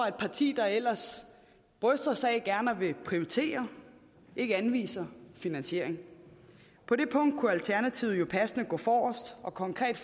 et parti der ellers bryster sig af gerne at ville prioritere ikke anviser finansiering på det punkt kunne alternativet jo passende gå forrest og konkret